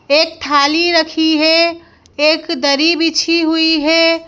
एक थाली रखी है एक दरी बिछी हुई है।